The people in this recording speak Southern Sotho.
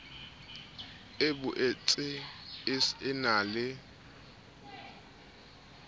e boetse e na le